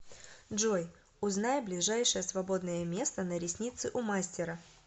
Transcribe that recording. джой узнай ближайшее свободное место на ресницы у мастера